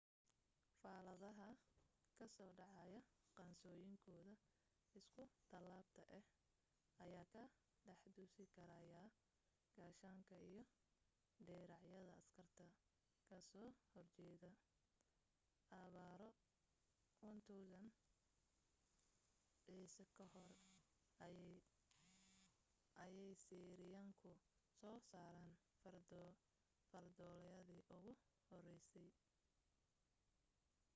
fallaadhaha ka soo dhacaya qaansooyinkooda isku tallaabta ah ayaa ka dhex dusi karayay gaashaanka iyo diracyada askarta ka soo horjeeda abbaaro 1000 ciise ka hor ayay asiiriyaanku soo saareen fardoolaydii ugu horreysay